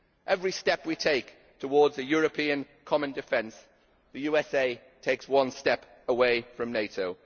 Every step we take towards a European common defence, the USA takes one step away from NATO.